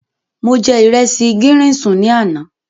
Mo jẹ ìresì gírín-ìn sùn ní àná.